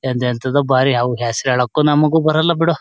ಅದ್ ಎಂತದು ಬಾರಿ ಹಾವು ಹೆಸ್ರು ಹೇಳಕ್ಕೂ ನಮ್ಗೂ ಬರಲ್ಲಾ ಬಿಡೊ.